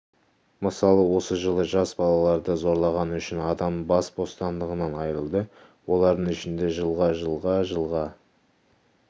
мысалы осы жылы жас балаларды зорлағаны үшін адам бас бостандығынан айырылды олардың ішінде жылға жылға жылға